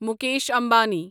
Mukesh Ambani